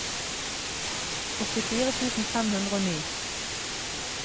åttifire tusen fem hundre og ni